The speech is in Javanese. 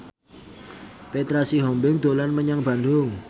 Petra Sihombing dolan menyang Bandung